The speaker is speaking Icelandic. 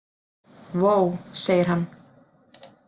Vó, segir hann.